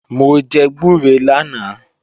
Mò jẹ gbúre lánàá